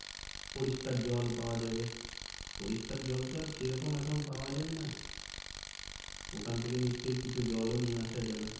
পরিষ্কার জল পাওয়া যাবে। পরিষ্কার জল তো আর সেরকম এখন পাওয়া যাই না ওখান থেকে নিশ্চয় কিছু জলও নিয়ে আসা যাবে।